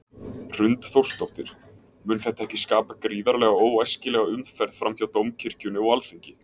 Hrund Þórsdóttir: Mun þetta ekki skapa gríðarlega óæskilega umferð fram hjá Dómkirkjunni og Alþingi?